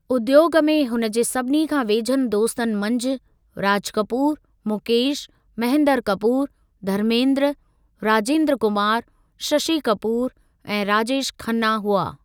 उद्योगु में हुन जे सभिनी खां वेझनि दोस्तनि मंझि राज कपूर, मुकेश, महेंद्र कपूर, धर्मेंद्र, राजेंद्र कुमार, शशि कपूर ऐं राजेश खन्ना हुआ।